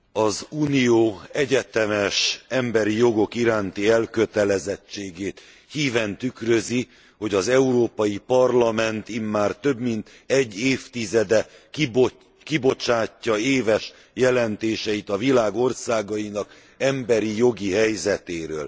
Az Unió egyetemes emberi jogok iránti elkötelezettségét híven tükrözi, hogy az Európai Parlament immár több mint egy évtizede kibocsátja éves jelentéseit a világ országainak emberi jogi helyzetéről.